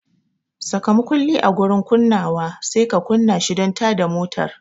Saka makulli a gurin kunnawa sai ka kunna shi don tada motar.